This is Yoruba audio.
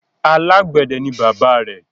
Alágbẹ̀dẹ ni bàbáa rẹ̀.